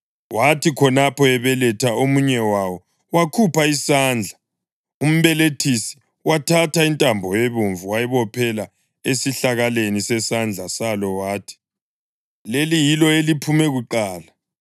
Wathi khonapho ebeletha omunye wawo wakhupha isandla; umbelethisi wathatha intambo ebomvu wayibophela esihlakaleni sesandla salo wathi, “Leli yilo eliphume kuqala.”